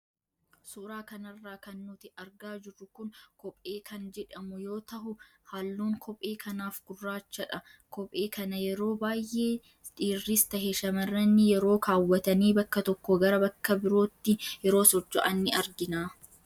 Suuraa kanarraa kan nuti argaa jirru kun kophee kan jedhamu yoo tahu halluun kophee kanaaf gurraachadha. Kophee kana yeroo baayee dhiirris tahe shammarrani yeroo kaawwatanii bakka tokkoo gara bakka birootti yeroo socho'an in argina.